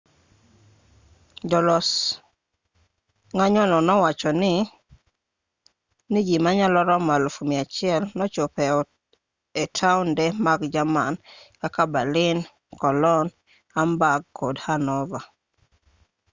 jolos ng'anyono nowacho ni ji manyalo romo 100,000 nochopo e taonde mag jerman kaka berlin cologne hamburg kod hanover